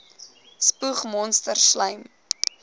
spoeg monsters slym